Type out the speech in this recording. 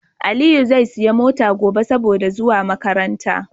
Aliyi zai siya mota gobe saboda zuwa makaranta